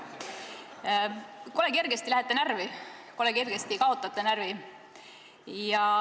Kole kergesti lähete närvi, kole kergesti kaotate närvi.